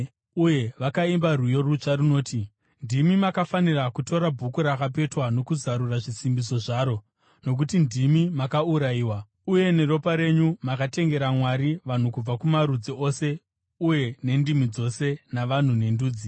Uye vakaimba rwiyo rutsva runoti: “Ndimi makafanira kutora bhuku rakapetwa kuti muzarure zvisimbiso zvaro, nokuti ndimi makaurayiwa, uye neropa renyu makatengera Mwari vanhu kubva kumarudzi ose uye nendimi dzose, navanhu nendudzi.